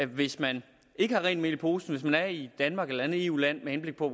hvis man ikke har rent mel i posen hvis man er i danmark eller et andet eu land med henblik på at